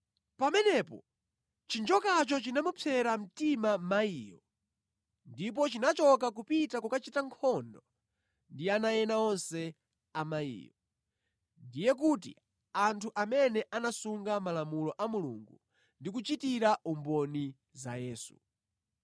Pamenepo chinjokacho chinamupsera mtima mayiyo ndipo chinachoka kupita kukachita nkhondo ndi ana ena onse a mayiyo, ndiye kuti anthu amene anasunga malamulo a Mulungu ndi kuchitira umboni za Yesu.